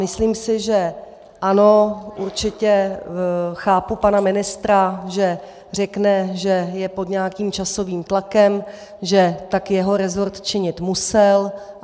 Myslím si, že - ano určitě chápu pana ministra, že řekne, že je pod nějakým časovým tlakem, že tak jeho resort činit musel.